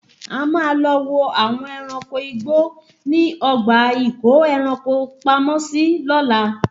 A máa lọ wo àwọn ẹranko igbó ní ọgbà ìkó ẹranko pamọ́ sí lóla